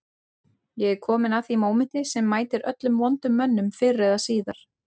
Ég er kominn að því mómenti sem mætir öllum vondum mönnum fyrr eða síðar